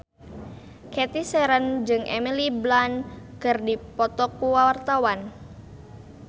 Cathy Sharon jeung Emily Blunt keur dipoto ku wartawan